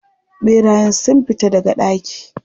Ɓerayen sun fita daga daki?